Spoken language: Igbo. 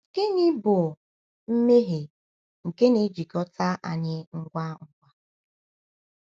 Gịnị bụ “mmehie nke na-ejikọta anyị ngwa ngwa”?